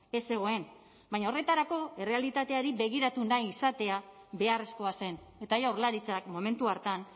ez zegoen baina horretarako errealitateari begiratu nahi izatea beharrezkoa zen eta jaurlaritzak momentu hartan